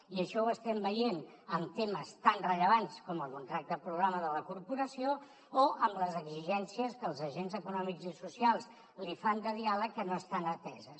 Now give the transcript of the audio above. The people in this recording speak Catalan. i això ho estem veient en temes tan rellevants com el contracte programa de la corporació o amb les exigències que els agents econòmics i socials li fan de diàleg que no estan ateses